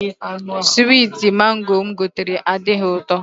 Switi Mango mụ gotere adịghị ụtọ